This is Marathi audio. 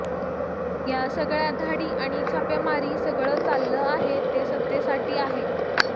या सगळ्या धाडी आणि छापेमारी सगळं चाललं आहे ते सत्तेसाठी आहे